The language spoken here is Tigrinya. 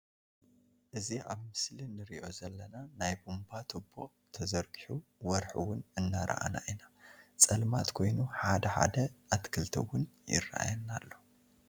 እዚ አብ ምስሊ ኒሪኦ ዘለና ናይ ቡምባ ትቦ ተዘርጊሑ ወርሒ እውን እናረኣና ኢና ፀልማትን ኮይኑ ሓደ ሓደ አትክልቲ እውን ይረኣየና ኣሎ።